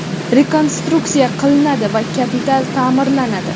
rekonstruksiya qilinadi va kapital taʼmirlanadi.